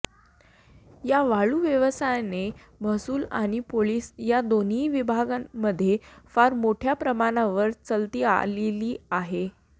या वाळू व्यवसायाने महसूल आणि पोलीस या दोन्ही विभागांमध्ये फार मोठय़ा प्रमाणावर चलती आलेली आहे